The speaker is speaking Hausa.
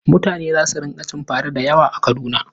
Mutane za su rinƙa cin fara da yawa a Kaduna.